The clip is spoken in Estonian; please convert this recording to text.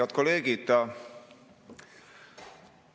Head kolleegid!